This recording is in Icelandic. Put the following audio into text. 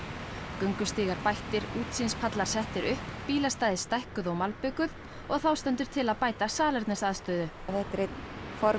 göngustígar bættir útsýnispallar settir upp bílastæði stækkuð og malbikuð og þá stendur til að bæta salernisaðstöðu þetta er einn